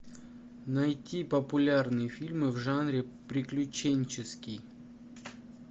найти популярные фильмы в жанре приключенческий